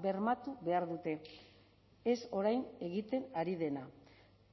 bermatu behar dute ez orain egiten ari dena